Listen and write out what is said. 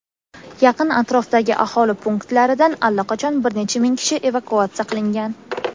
Yaqin atrofdagi aholi punktlaridan allaqachon bir necha ming kishi evakuatsiya qilingan.